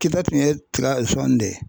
Kita kun ye tika de ye.